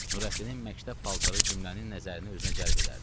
Nurəddinin məktəb paltarı cümlənin nəzərini özünə cəlb edərdi.